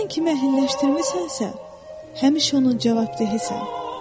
Sən kimi əhəlləşdirmisənsə, həmişə onun cavabdehisan.